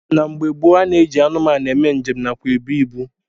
Na mgbe gboo a na-eji anụmanụ eme njem nakwa ebu ibu